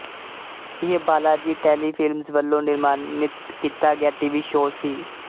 ਇਹ ਬਾਲਾਜੀ ਟੈਲੀਫ਼ਿਲਮਜ ਵੱਲੋਂ ਨਿਰਮਾਨਿਤ ਕੀਤਾ ਗਿਆ ਟੀਵੀ ਸ਼ੋਅ ਸੀ